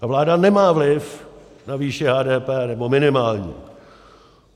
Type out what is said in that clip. Ta vláda nemá vliv na výši HDP, nebo minimální.